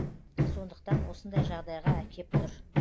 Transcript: сондықтан осындай жағдайға әкеп тұр